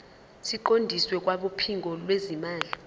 siqondiswe kwabophiko lwezimali